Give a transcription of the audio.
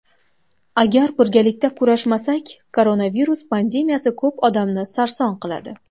Agar birgalikda kurashmasak, koronavirus pandemiyasi ko‘p odamni sarson qiladi.